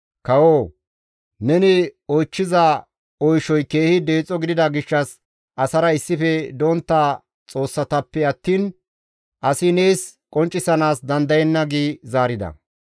Kawoo! Neni oychchiza oyshay keehi deexo gidida gishshas asara issife dontta xoossatappe attiin asi nees qonccisanaas dandayenna» gi zaarida.